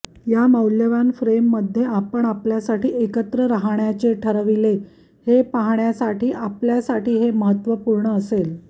या मौल्यवान फ्रेम मध्ये आपण आपल्यासाठी एकत्र राहण्याचे ठरविले हे पाहण्यासाठी आपल्यासाठी हे महत्त्वपूर्ण असेल